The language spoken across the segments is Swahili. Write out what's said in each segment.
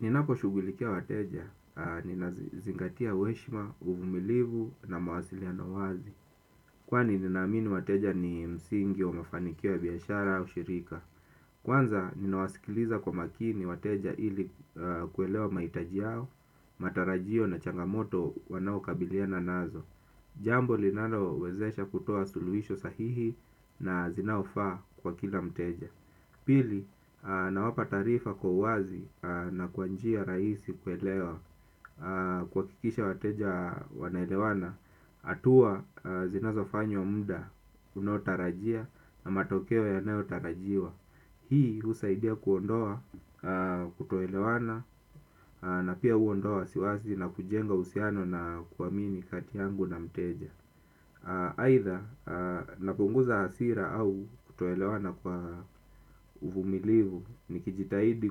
Ninaposhugulikia wateja, ninazingatia uheshima, uvumilivu na mawasiliano wazi. Kwani ninaamini wateja ni msingi wa mafanikio ya biashara au shirika. Kwanza ninawasikiliza kwa makini wateja ili kuelewa mahitaji yao, matarajio na changamoto wanaokabiliana nazo. Jambo linalowezesha kutoa suluhisho sahihi na zinaofaa kwa kila mteja. Pili nawapa taarifa kwa wazi na kwa njia rahisi kuelewa kuhakikisha wateja wanaelewana hatua zinazofanywa mda unaotarajia na matokeo yanayotarajiwa. Hii husaidia kuondoa kutoelewana na pia huondoa wasiwasi na kujenga uhusiano na kuamini kati yangu na mteja aidha napunguza hasira au kutoelewana kwa uvumilivu. Nikijitahidi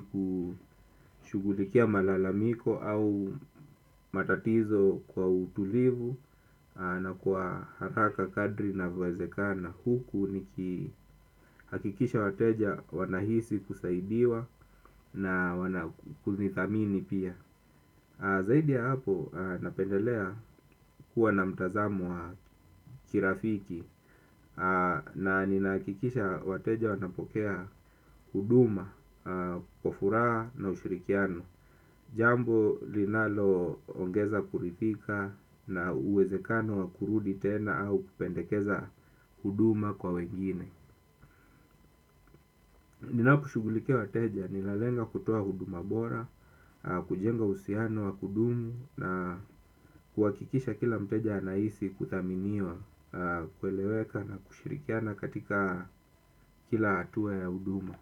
kushughulikia malalamiko au matatizo kwa utulivu na kwa haraka kadri inavowezekana. Huku nikihakikisha wateja wanahisi kusaidiwa na wana kunithamini pia. Zaidi ya hapo napendelea kuwa na mtazamo wa kirafiki na ninahakikisha wateja wanapokea huduma, kwa furaha na ushirikiano. Jambo linaloongeza kuridhika na uwezekano wa kurudi tena au kupendekeza huduma kwa wengine. Ninaposhughulikia wateja, nilalenga kutoa huduma bora, kujenga uhusiano wa kudumu na kuhakikisha kila mteja anahisi kuthaminiwa, kueleweka na kushirikiana katika kila hatua ya huduma.